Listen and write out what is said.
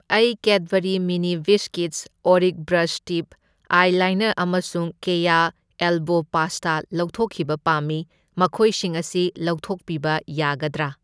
ꯑꯩ Cadbury mini biscuits ꯑꯣꯔꯤꯛ brush tip eyeliner ꯑꯃꯁꯨꯡ ꯀꯦꯌꯥ ꯑꯦꯜꯕꯣ ꯄꯥꯁꯇꯥ ꯂꯧꯊꯣꯛꯈꯤꯕ ꯄꯥꯝꯃꯤ꯫ ꯃꯈꯣꯏꯁꯤꯡ ꯑꯁꯤ ꯂꯧꯊꯣꯛꯄꯤꯕ ꯌꯥꯒꯗ꯭ꯔꯥ?